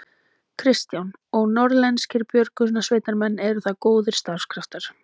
Kristján: Og norðlenskir björgunarsveitarmenn, eru það góðir starfskraftar?